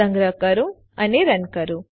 સંગ્રહ કરો અને રન કરો